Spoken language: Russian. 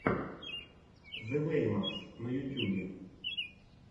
зэ вэймакс на ютьюбе